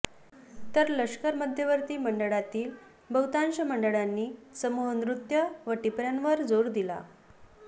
तर लष्कर मध्यवर्ती मंडळातील बहुतांश मंडळांनी समूह नृत्य व टिपर्यांवर जोर दिला